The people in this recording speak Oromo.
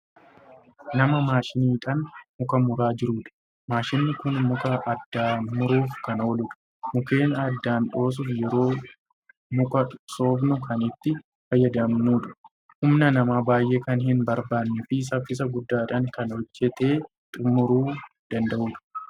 Nama maashiniidhaan muka muraa jiruudha. Maashinii Kun muka addaan muruuf Kan ooludha. Mukkeen addaan dhoosuuf yeroo muka soofnu Kan itti fayyadamnuudha. Humna namaa baay'ee Kan hin barbaannee fi saffisa guddaadhaan Kan hojjatee xumuruu danda'uudha.